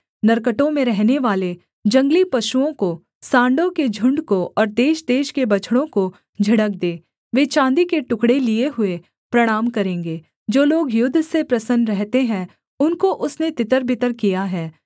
नरकटों में रहनेवाले जंगली पशुओं को सांडों के झुण्ड को और देशदेश के बछड़ों को झिड़क दे वे चाँदी के टुकड़े लिये हुए प्रणाम करेंगे जो लोगे युद्ध से प्रसन्न रहते हैं उनको उसने तितरबितर किया है